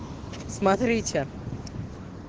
смотрите